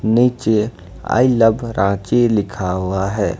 निचे I love Ranchi लिखा हुआ है।